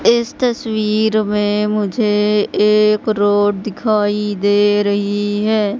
इस तस्वीर में मुझे एक रोड दिखाई दे रही है।